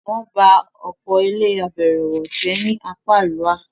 wọ́n bá ọ̀pọ̀ ilé -àbẹ̀ẹ̀rẹ̀wọ̀ jẹ́ ni apá àríwá.